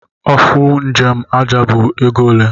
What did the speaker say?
Ofụ njem aja bu ego ole?